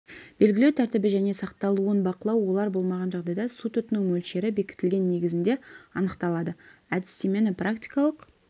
белгілеу тәртібі және сақталуын бақылау олар болмаған жағдайда су тұтыну мөлшері бекітілген негізінде анықталады әдістемені практикалық